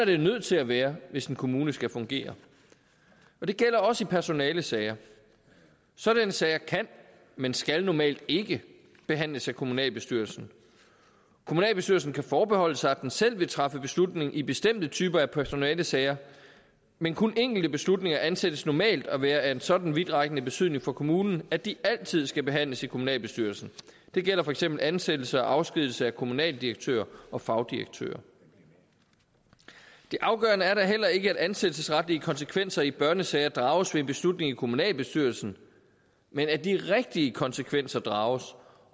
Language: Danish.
det nødt til at være hvis en kommune skal fungere det gælder også i personalesager sådanne sager kan men skal normalt ikke behandles af kommunalbestyrelsen kommunalbestyrelsen kan forbeholde sig at den selv vil træffe beslutning i bestemte typer af personalesager men kun enkelte beslutninger anses normalt for at være af en sådan vidtrækkende betydning for kommunen at de altid skal behandles i kommunalbestyrelsen det gælder for eksempel ansættelse og afskedigelse af kommunaldirektører og fagdirektører det afgørende er da heller ikke at ansættelsesretlige konsekvenser i børnesager drages ved en beslutning i kommunalbestyrelsen men at de rigtige konsekvenser drages